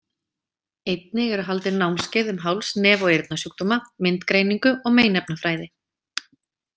Einnig eru haldin námskeið um háls-, nef- og eyrnasjúkdóma, myndgreiningu og meinefnafræði.